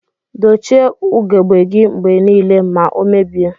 Dochie ugegbe gi mgbe nile ma omebie.